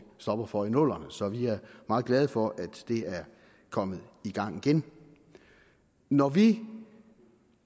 stopper for i nullerne så vi er meget glade for at det er kommet i gang igen når vi